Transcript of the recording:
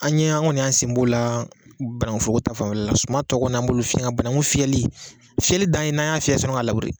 An ye an kɔni y'an sen b'o la ban fuako ta fanfɛla la sumantɔ kɔni an b'olu fiyɛ nga banangu fiyɛli fiyɛli dan ye n'an y'a fiyɛ yani k'a lawuri